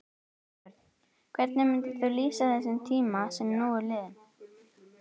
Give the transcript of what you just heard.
Björn: Hvernig myndir þú lýsa þessum tíma sem nú er liðinn?